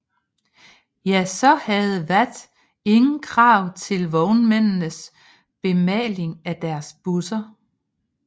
Ja så havde VAT ingen krav til vognmændenes bemaling af deres busser